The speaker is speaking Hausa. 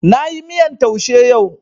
Na yi miyan taushe yau